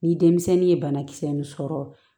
Ni denmisɛnnin ye banakisɛ ninnu sɔrɔ